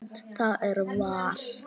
Það er val.